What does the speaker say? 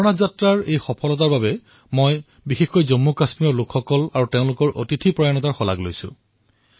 অমৰনাথৰ যাত্ৰাৰ সফলতাৰ বাবে মই বিশেষকৈ জম্মুকাশ্মীৰৰ জনতাৰ তথা তেওঁলোকৰ আতিথ্যৰ প্ৰশংসা কৰিবলৈ বিচাৰিছো